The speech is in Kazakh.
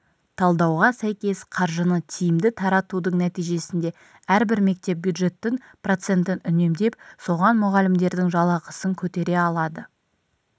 талдауға сәйкес қаржыны тиімді таратудың нәтижесінде әрбір мектеп бюджеттің процентін үнемдеп соған мұғалімдердің жалақысын көтере алады